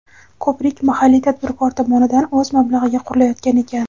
Ko‘prik mahalliy tadbirkor tomonidan o‘z mablag‘iga qurilayotgan ekan.